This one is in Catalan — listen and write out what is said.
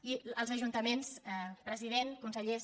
i els ajuntaments president consellers